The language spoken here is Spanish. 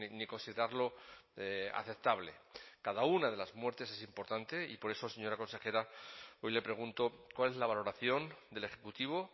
ni considerarlo aceptable cada una de las muertes es importante y por eso señora consejera hoy le pregunto cuál es la valoración del ejecutivo